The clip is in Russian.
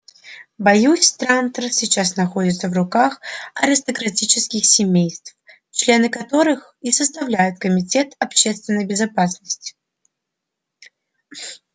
боюсь трантор сейчас находится в руках аристократических семейств члены которых и составляют комитет общественной безопасности